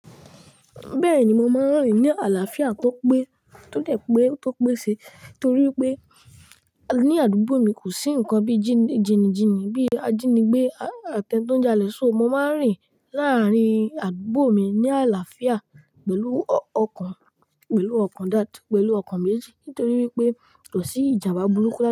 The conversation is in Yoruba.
Bẹ́ẹ̀ni, mo máa ń rìn ní àlàáfíà tọ́pẹ́, tọ́de tọ́pẹ́ sí torí pé ní àdúgbò mi kò sí ǹkan bí jí jìnìjìnì bí ajínigbé, àtẹ́n tó ń jalè, só mo máa ń rìn láàárín àdúgbò mi ní àlàáfíà pẹ̀lú ọkàn, pẹ̀lú ọkàn dáadáa, pẹ̀lú ọkàn méjì nitorí wipé kò sí ìjàmbá burúkú láta.